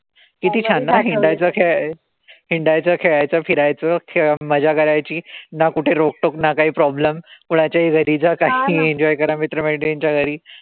किती छान ना, हिंडायचहिंडायच, खेळायचं, फिरायचं, मजा करायची. ना कुठे रोकटोक ना काई problem. कोणाच्याही घरी जा कितीही enjoy करा मित्रमैत्रिणचा घरी.